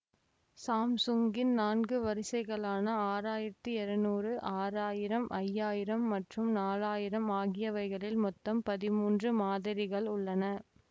Samsung இன் நான்கு வரிசைகலான ஆறாயிரத்தி இருநூறு ஆறாயிரம் ஐயாயிரம் மற்றும் நாலாயிரம் ஆகியவைகளில் மொத்தம் பதிமூன்று மாதிரிகள் உள்ளன